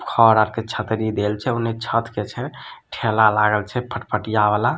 खरआर के छतरी देहल छे ऊनि छत के छे ठेला लगल छे फटपहटिया वाला।